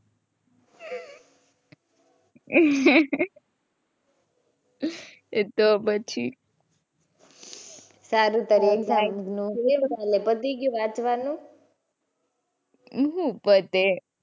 તો પછી. સારું ત્યારે exam નું કેવું ચાલે પતી ગયું વાંચવાનું? શું પતે.